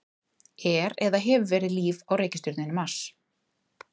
Er eða hefur verið líf á reikistjörnunni Mars?